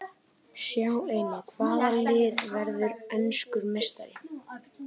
Sjá einnig: Hvaða lið verður enskur meistari?